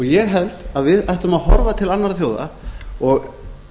ég held að við ættum að horfa til annarra þjóða og